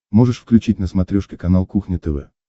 можешь включить на смотрешке канал кухня тв